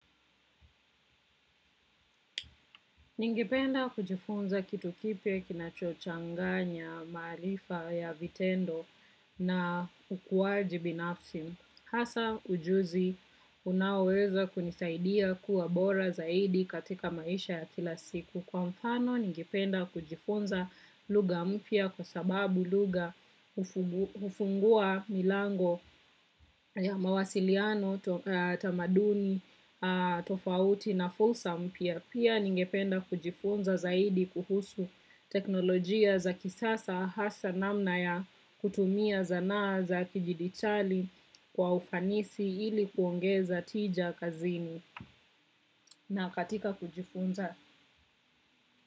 Ningependa kujifunza kitu kipya kinachochanganya maarifa ya vitendo na ukuaji binafsi. Hasa ujuzi unaoweza kunisaidia kuwa bora zaidi katika maisha ya kila siku. Kwa mfano, ningependa kujifunza lugha mpya kwa sababu lugha hufungua milango ya mawasiliano, tamaduni, tofauti na fursa mpya. Pia ningependa kujifunza zaidi kuhusu teknolojia za kisasa hasa namna ya kutumia sanaa za kidijitali kwa ufanisi ili kuongeza tija kazini. Na katika kujifunza.